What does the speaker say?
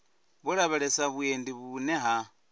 vho lavhelesa vhuendi vhune ha